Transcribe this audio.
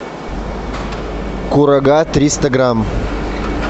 курага триста грамм